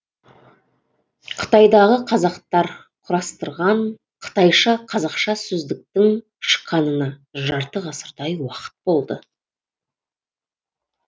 қытайдағы қазақтар құрастырған қытайша қазақша сөздіктің шыққанына жарты ғасырдай уақыт болды